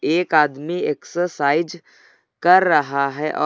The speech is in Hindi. एक आदमी एक्सरसाइज कर रहा है और--